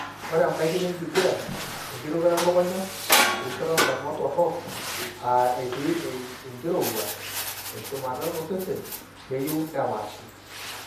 Ore embaikino enkiguran, enkirutoto elukunya, erishata oondamunot torok (etii enkirowuaj eshumata osesen) neyieu nepaashi.